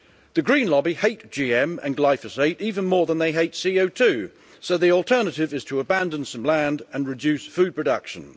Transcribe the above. The green lobby hate GM and glyphosate even more than they hate CO2, so the alternative is to abandon some land and reduce food production.